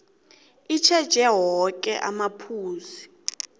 itjheje woke amaphuzu